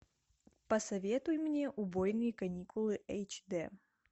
посоветуй мне убойные каникулы эйч д